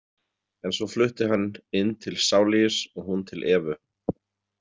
En svo flutti hann inn til Saulius og hún til Evu.